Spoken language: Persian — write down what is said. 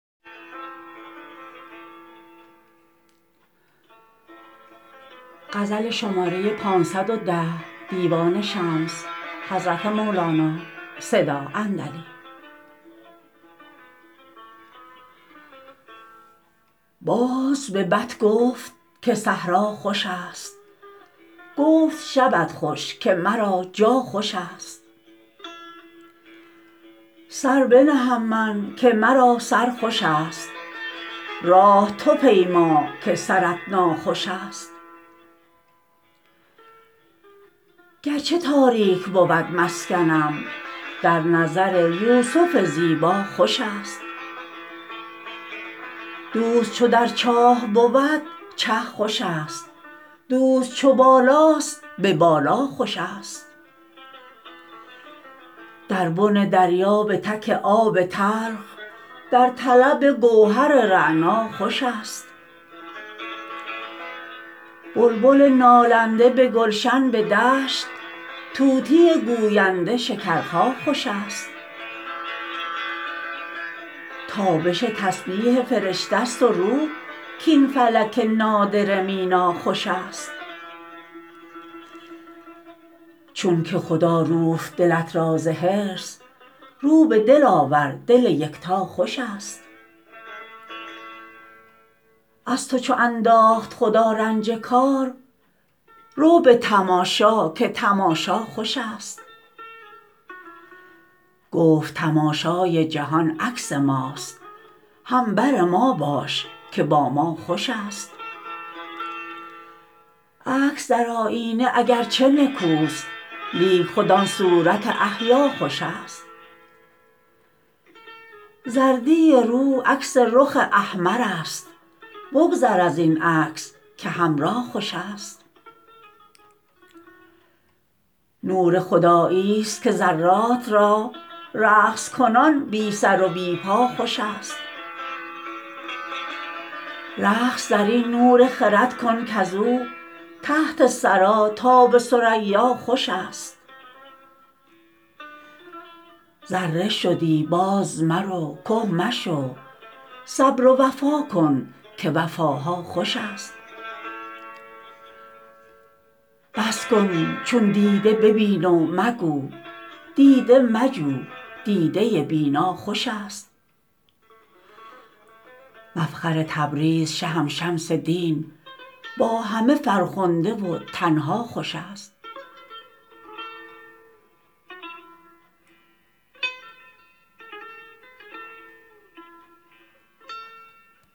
باز به بط گفت که صحرا خوشست گفت شبت خوش که مرا جا خوشست سر بنهم من که مرا سر خوشست راه تو پیما که سرت ناخوشست گر چه تاریک بود مسکنم در نظر یوسف زیبا خوشست دوست چو در چاه بود چه خوشست دوست چو بالاست به بالا خوشست در بن دریا به تک آب تلخ در طلب گوهر رعنا خوشست بلبل نالنده به گلشن به دشت طوطی گوینده شکرخا خوشست تابش تسبیح فرشته ست و روح کاین فلک نادره مینا خوشست چونک خدا روفت دلت را ز حرص رو به دل آور دل یکتا خوشست از تو چو انداخت خدا رنج کار رو به تماشا که تماشا خوشست گفت تماشای جهان عکس ماست هم بر ما باش که با ما خوشست عکس در آیینه اگرچه نکوست لیک خود آن صورت احیا خوشست زردی رو عکس رخ احمرست بگذر از این عکس که حمرا خوشست نور خدایی ست که ذرات را رقص کنان بی سر و بی پا خوشست رقص در این نور خرد کن کز او تحت ثری تا به ثریا خوشست ذره شدی بازمرو که مشو صبر و وفا کن که وفاها خوشست بس کن چون دیده ببین و مگو دیده مجو دیده بینا خوشست مفخر تبریز شهم شمس دین با همه فرخنده و تنها خوشست